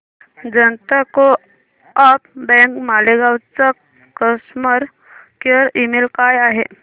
जनता co-op bank Malegaon चा customer care email काय आहे